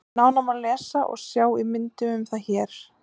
Nánar má lesa og sjá í myndum um það hér.